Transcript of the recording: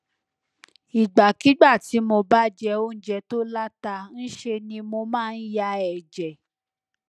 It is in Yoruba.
ìgbàkigbà tí mo bá jẹ oúnjẹ tó láta ń ṣe ni mo máa ń ya ẹjẹ